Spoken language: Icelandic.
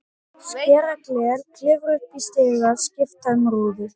Skera gler, klifra upp í stiga, skipta um rúður.